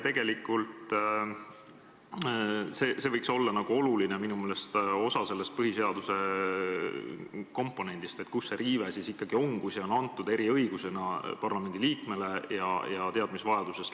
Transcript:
Tegelikult võiks see minu meelest olla oluline osa sellest põhiseaduse komponendist, et oleks teada, kus see riive siis ikkagi on, kui see on antud eriõigusena parlamendliikmele ja lähtuvalt teadmisvajadusest.